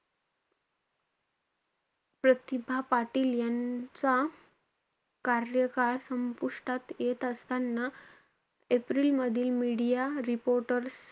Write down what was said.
प्रतिभा पाटील यांचा कार्यकाळ संपुष्टात येत असताना एप्रिलमधील media reporter,